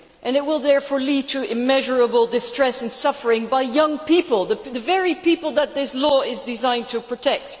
It will therefore lead to immeasurable distress and suffering by young people, the very people that this law is designed to protect.